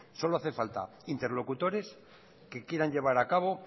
solo hacen falta interlocutores que quieran llevar a cabo